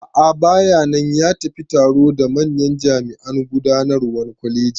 A'a bayanan, ya tafi taro da manyan jami'an gudanarwan kwalegin